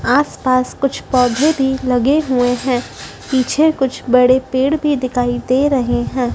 आस पास कुछ पौधे भी लगे हुए हैं पीछे कुछ बड़े पेड़ भी दिखाई दे रहे है।